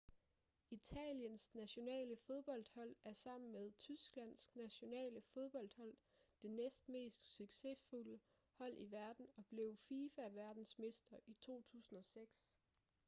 italiens nationale fodboldhold er sammen med tysklands nationale fodboldhold det næstmest succesfulde hold i verden og blev fifa verdensmester i 2006